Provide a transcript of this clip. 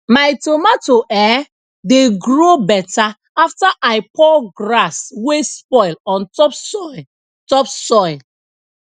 my tomato um dey grow better after i pour grass wey spoil on top soil top soil